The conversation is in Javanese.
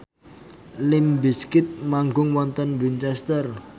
limp bizkit manggung wonten Winchester